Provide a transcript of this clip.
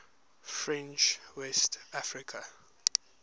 french west africa